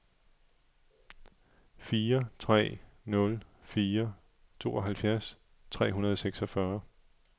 fire tre nul fire tooghalvfjerds tre hundrede og seksogfyrre